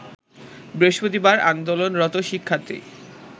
বৃহস্পতিবার আন্দোলনরত শিক্ষার্থী